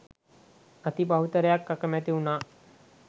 අති බහුතරයක් අකමැති වුණා